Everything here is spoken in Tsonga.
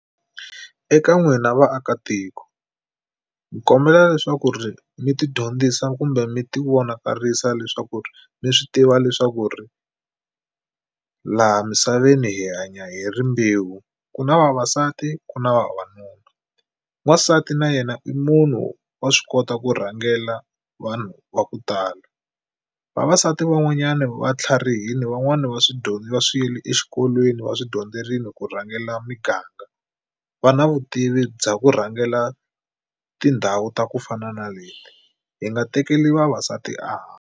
Eka n'wina vaakatiko hi kombela leswaku ri mi tidyondzisa kumbe mi tivonakarisa leswaku ri mi swi tiva leswaku ri laha misaveni hi hanya hi rimbewu ku na vavasati ku na vavanuna. Wansati na yena i munhu wa swi kota ku rhangela vanhu va ku tala. Vavasati van'wanyana va tlharihile van'wani va swi dyondza swilo exikolweni va swi dyondzerile ku rhangela miganga. Va na vutivi bya ku rhangela tindhawu ta ku fana na leti hi nga tekeli vavasati a .